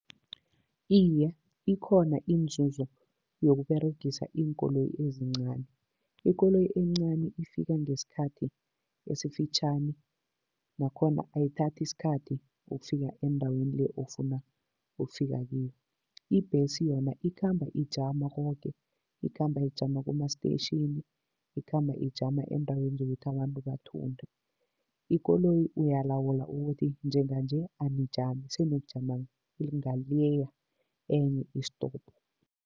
Iye, ikhona inzuzo yokuberegisa iinkoloyi ezincani. Ikoloyi encani ifika ngesikhathi esifitjhani nakhona ayithathi isikhathi ukufika endaweni le ofuna ukufika kiyo. Ibhesi yona ikhamba ijama koke, ikhamba ijama kuma-station, ikhamba ijama eendaweni zokuthi abantu bathunde. Ikoloyi uyalawula ukuthi njenganje anijami, seniyokujama leya enye isitopo.